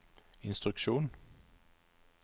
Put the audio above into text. instruksjon